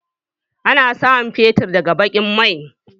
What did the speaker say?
Ana samun fetur daga baƙin mai.